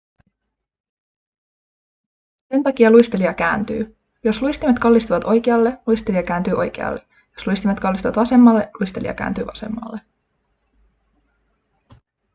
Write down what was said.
sen takia luistelija kääntyy jos luistimet kallistuvat oikealle luistelija kääntyy oikealle jos luistimet kallistuvat vasemmalle luistelija kääntyy vasemmalle